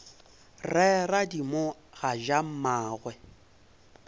re radimo ga ja mmagwe